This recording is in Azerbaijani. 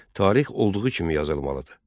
Tarix olduğu kimi yazılmalıdır.